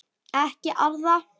Ekki arða.